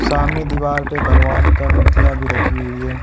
सामने दीवार पे भगवान का मूर्तियां भी रखी हुई है।